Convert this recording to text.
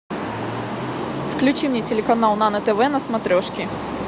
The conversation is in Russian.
включи мне телеканал нано тв на смотрешке